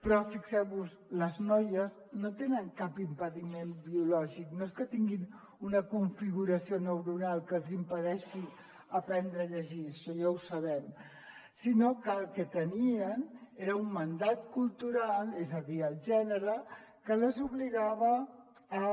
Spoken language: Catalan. però fixeu vos hi les noies no tenen cap impediment biològic no és que tinguin una configuració neuronal que els impedeixi aprendre a llegir això ja ho sabem sinó que el que tenien era un mandat cultural és a dir el gènere que les obligava a